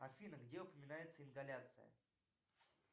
афина где упоминается ингаляция